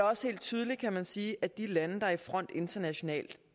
også helt tydeligt kan man sige at de lande der er i front internationalt